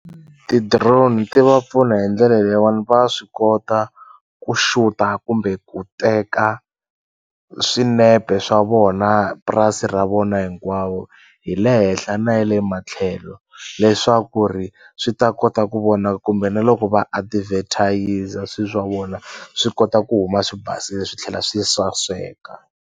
Ti-drone ti va pfuna hi ndlela leyiwani va swi kota ku xuta kumbe ku teka swinepe swa vona purasi ra vona hinkwawo hi le henhla na ya le matlhelo leswaku ri swi ta kota ku vonaka kumbe na loko va adivhethayiza swi swa vona swi kota ku huma swi basile swi tlhela swi saseka.